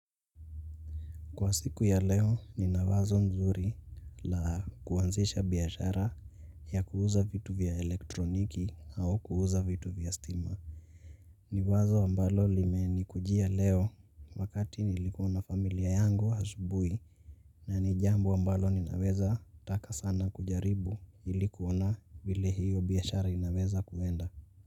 Kwa siku ya leo nina wazo mzuri la kuanzisha biashara ya kuuza vitu vya elektroniki au kuuza vitu vya stima. Ni wazo ambalo limenikujia leo wakati nilikuwa na familia yangu asubuhi na ni jambo ambalo ninaweza taka sana kujaribu ili kuona vile hiyo biashara inaweza kuenda.